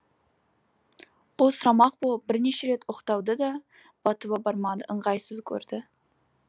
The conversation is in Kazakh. ол сұрамақ болып бірнеше рет оқталды да батылы бармады ыңғайсыз көрді